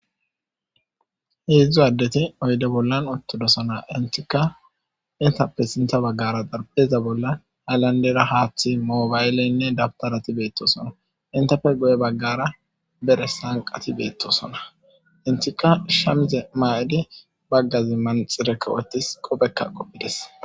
Heedzdzu addeti oyde bollan ottudosona intika intappe sinta baggara dharpheza bolla halandera haaththi moobaylleynne dabtarati beettosona intape goye baggara bere sanqati beettosona intika shamize maa7idi baggazi manxire wothis qopekka qopphides.